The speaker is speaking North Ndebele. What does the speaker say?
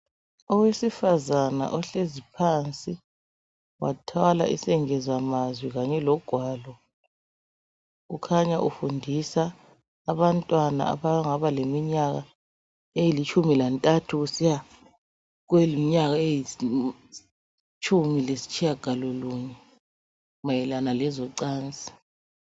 Owesifazana ohlezi phansi wathwala esengezamazwi kanye logwalo, kukhanya ufundisa abantwana abangaba leminyaka elitshumi lantathu kusiya kweyimnyaka elitshumi lasitshiyagalolunye mayelana lezocansi.